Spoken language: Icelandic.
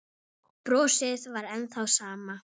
Brosið var enn það sama.